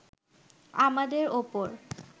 আমাদের ওপর